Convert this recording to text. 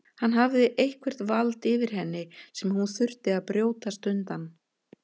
Hann hafði eitthvert vald yfir henni sem hún þurfti að brjótast undan.